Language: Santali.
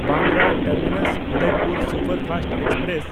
Bandra ᱴᱟᱨᱢᱤᱱᱟᱥ–ᱩᱫᱚᱭᱯᱩᱨ superfast express